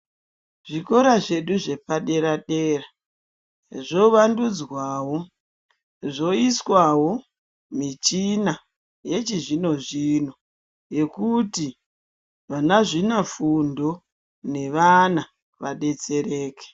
Zvikora zvedu zvepadera dera zvovandudzwawo zvoiswawo michina yechizvino zvino yekuti vanazvina fundo nevana vadetsereke.